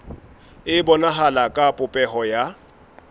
e bonahala ka popeho ya